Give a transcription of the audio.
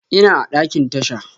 Ina a ɗakin tasha.